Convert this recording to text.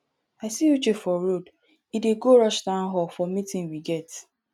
i see uche for road he dey go rush town hall for meeting we get